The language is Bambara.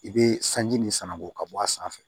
I be sanji nin sananko ka bɔ a sanfɛ